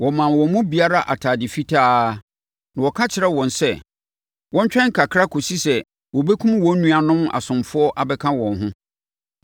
Wɔmaa wɔn mu biara atadeɛ fitaa, na wɔka kyerɛɛ wɔn sɛ wɔntwɛn kakra kɔsi sɛ wɔbɛkum wɔn nuanom asomfoɔ abɛka wɔn ho.